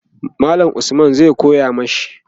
mallam Usman zai koya mashi